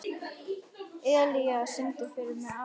Elía, syngdu fyrir mig „Afgan“.